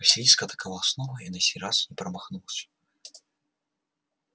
василиск атаковал снова и на сей раз промахнулся